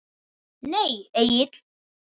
Nei Egill.